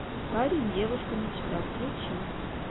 парень девушка мечта включи